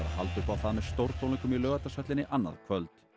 halda upp á það með stórtónleikum í Laugardalshöllinni annað kvöld